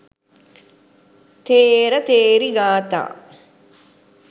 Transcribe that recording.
ථේර ථේරී ගාථා